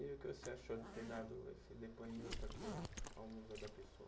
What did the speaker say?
E o que você achou de ter dado esse depoimento aqui ao Museu da Pessoa?